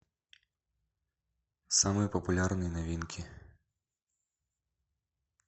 самые популярные новинки